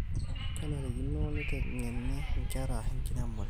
kenarikino neitengeni inkera enkiremore